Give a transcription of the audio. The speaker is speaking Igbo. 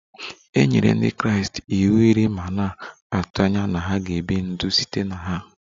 E nyere Ndị Kraịst iwu iri ma na-atụ anya na ha ga-ebi ndụ site na ha